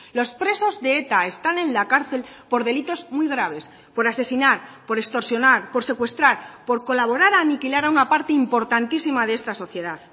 los presos de eta están en la cárcel por delitos muy graves por asesinar por extorsionar por secuestrar por colaborar a aniquilar a una parte importantísima de esta sociedad